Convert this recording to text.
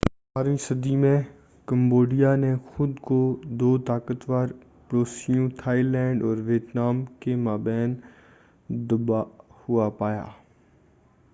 اٹھارہویں 18 صدی میں کمبوڈیا نے خود کو دو طاقتور پڑوسیوں تھائی لینڈ اور ویتنام کے مابین دبا ہوا پایا۔